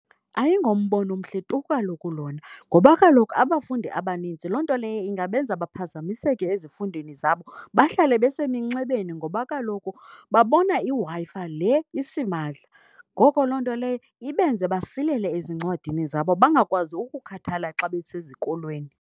Ayingombono mhle tu kaloku lona ngoba kaloku abafundi abanintsi loo nto leyo ingabenza baphazamiseke ezifundweni zabo, bahlale beseminxebeni ngoba kaloku babona iWi-Fi le isimahla, Ngoko loo nto leyo ibenze basilele ezincwadini zabo, bangakwazi ukukhathala xa besezikolweni.